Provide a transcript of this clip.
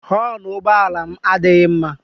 Họọnụ ụgbọala m adịghị mma.